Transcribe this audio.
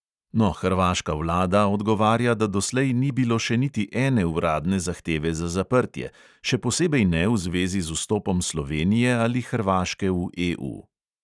No, hrvaška vlada odgovarja, da doslej ni bilo še niti ene uradne zahteve za zaprtje, še posebej ne v zvezi z vstopom slovenije ali hrvaške v EU.